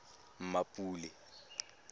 mmapule